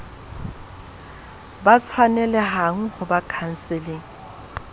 ba tshwanelehang ho ba khanseleng